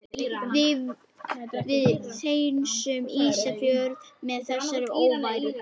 Við hreinsum Ísafjörð af þessari óværu!